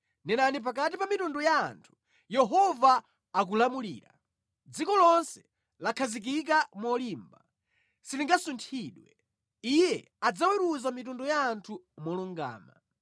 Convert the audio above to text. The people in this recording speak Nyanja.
Nenani pakati pa mitundu ya anthu, “Yehova akulamulira.” Dziko lonse lakhazikika molimba, silingasunthidwe; Iye adzaweruza mitundu ya anthu molungama.